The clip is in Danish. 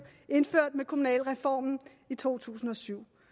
indført med kommunalreformen i to tusind og syv